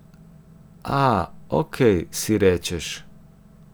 A, ok, si rečeš.